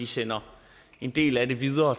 sender en del af dem videre